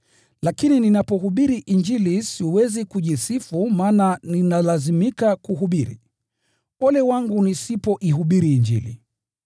Lakini ninapohubiri Injili siwezi kujisifu maana ninalazimika kuhubiri. Ole wangu nisipoihubiri Injili!